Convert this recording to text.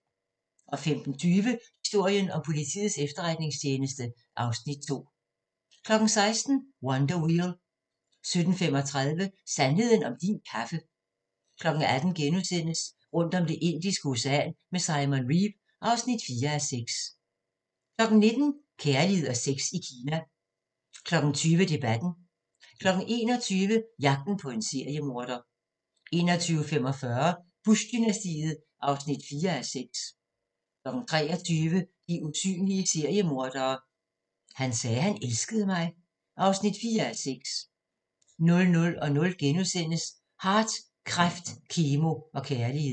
15:20: Historien om Politiets Efterretningstjeneste (Afs. 2) 16:00: Wonder Wheel 17:35: Sandheden om din kaffe 18:00: Rundt om Det Indiske Ocean med Simon Reeve (4:6)* 19:00: Kærlighed og sex i Kina 20:00: Debatten 21:00: Jagten på en seriemorder 21:45: Bush-dynastiet (4:6) 23:00: De usynlige seriemordere: Han sagde, han elskede mig (4:6) 00:00: Hart - kræft, kemo og kærlighed *